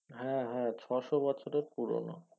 হ্যা হ্যা ছশ বছরের পূরণ